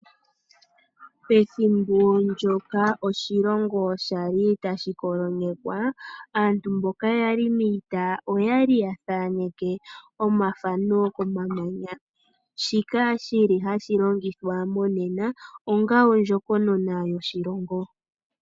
Pethimbo ndyoka oshilongo shali tashi kolonyekwa, aantu mboka yali miita oyali yathaaneke omathano komamanya. Shika shili hashi longithwa monena onga ondjokonona yoshilongo.